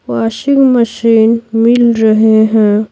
Washing machine मिल रहे हैं।